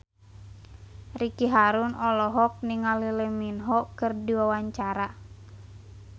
Ricky Harun olohok ningali Lee Min Ho keur diwawancara